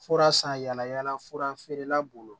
Fura san yala yala fura feerela bolo